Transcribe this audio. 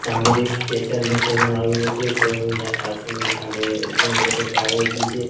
સામે સ્કેચર્સ નું શોરુમ આવેલુ છે શોરુમ ના કાચની સામે ઘણી બધી કારો ઊભી છે.